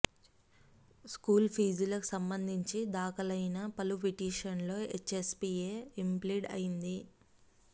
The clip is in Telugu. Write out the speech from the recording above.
స్కూల్ ఫీజులకు సంబంధించి దాఖలైన పలు పిటిషన్లలో హెచ్ఎస్పీఏ ఇంప్లీడ్ అయ్యింది